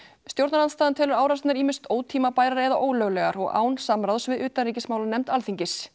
stjórnarandstaðan telur árásirnar ýmist ótímabærar eða ólöglegar og án samráðs við utanríkismálanefnd Alþingis